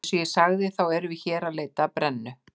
Eins og ég sagði, þá erum við hér að leita að brennu